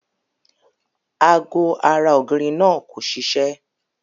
Ago ara ògiri náà kò siṣé.